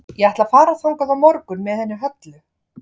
Ég ætla að fara þangað á morgun með henni Höllu.